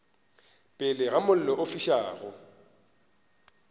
pele ga mollo o fišago